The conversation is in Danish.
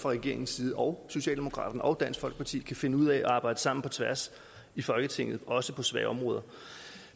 regeringens og socialdemokraternes og dansk folkepartis kan finde ud af at arbejde sammen på tværs i folketinget også på svære områder